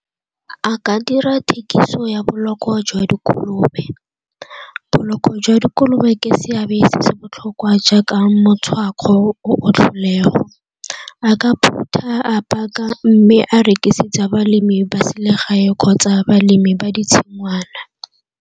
A ka dira thekiso ya boloko jwa dikolobe. Boloko jwa dikolobe ke seabe se se botlhokwa jaaka tlholego. A ka phutha, a paka mme a rekisetsa balemi ba selegae kgotsa balemi ba ditshingwana.